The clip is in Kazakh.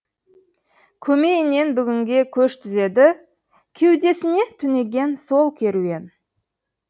көмейінен бүгінге көш түзеді кеудесіне түнеген сол керуен